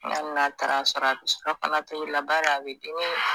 hali n'a taar'a sɔrɔ a bɛ surafanatobi la bari a bɛ dimi